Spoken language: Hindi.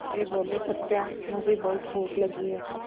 वे बोले सत्या मुझे बहुत भूख लगी है